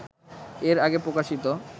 এর আগে প্রকাশিত